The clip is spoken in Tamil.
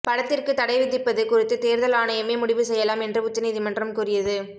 படத்திற்கு தடை விதிப்பது குறித்து தேர்தல் ஆணையமே முடிவு செய்யலாம் என்று உச்ச நீதிமன்றம் கூறியது